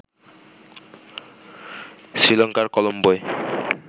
শ্রীলঙ্কার কলম্বোয়